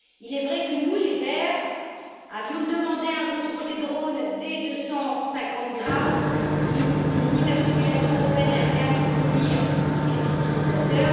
Il est vrai que nous les Verts avions demandé un contrôle des drones dès 250 grammes, une immatriculation européenne et un permis de conduire pour tous les utilisateurs.